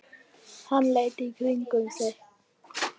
Hann leit í kringum sig.